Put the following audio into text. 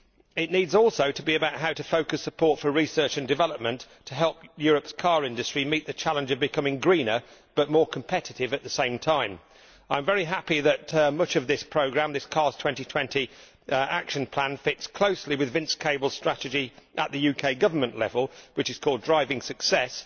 It also needs to be about how to focus support for research and development to help Europe's car industry meet the challenge of becoming greener but more competitive at the same time. I am very happy that much of this programme this CARS 2020 action plan fits closely with Vince Cable's strategy, at the UK Government level, which is called Driving Success.